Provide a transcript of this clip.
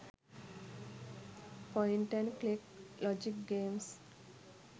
point and click logic games